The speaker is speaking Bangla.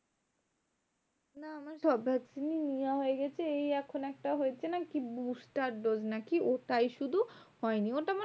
হ্যাঁ আমার সব vaccine ই নেওয়া হয়ে গেছে। এই এখন একটা কি হয়েছে না? কি booster dose না কি? ওটাই শুধু হয়নি ওটা মানে